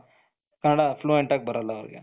Kannada fluent ಯಾಗಿ ಬರಲ್ಲ ಅವರಿಗೆ,